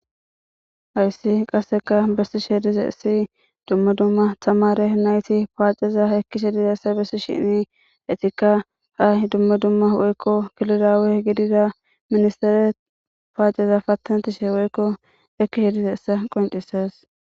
Haysi qaseka besishe dizays dumma dumma tamare anyti paceza ekishe dizaysa besishn etika ha Dumma dumma geliza woyko gidiza minstere paaceza patanetishe woyko ekishe dizaysa qoncisesi.